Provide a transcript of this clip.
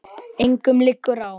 Engum liggur á.